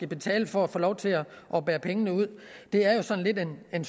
betale for at få lov til at bære pengene ud det er jo sådan en